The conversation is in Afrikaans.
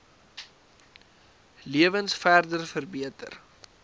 lewens verder verbeter